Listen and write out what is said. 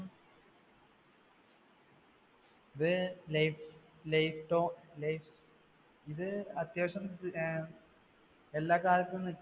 ഇത് ഇത് അത്യാവശ്യം എല്ലാകാലത്തും